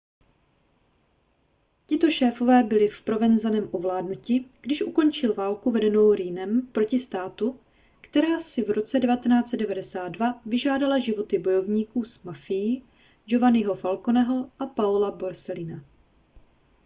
tito šéfové byli provenzanem ovládnuti když ukončil válku vedenou riinem proti státu která si v roce 1992 vyžádala životy bojovníků s mafií giovanniho falconeho a paola borsellina